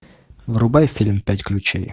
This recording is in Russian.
врубай фильм пять ключей